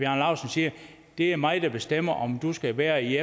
siger det er mig der bestemmer om du skal være i